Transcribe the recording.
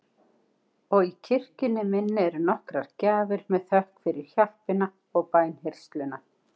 Og í kirkjunni minni eru nokkrar gjafir með þökk fyrir hjálpina og bænheyrsluna.